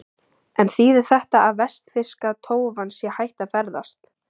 En þýðir þetta að vestfirska tófan sé hætt að ferðast?